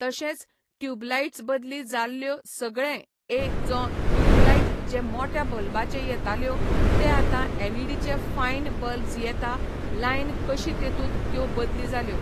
तशेंच ट्युबलाइटज बदली जाल्यो सगळें ए जों ट्युबलाइट्ज जे मोट्या बल्बाचें येताल्यो ते आता एलइडीचे फायन बल्बज येता लायन कशी तेतूंत त्यो बदली जाल्यो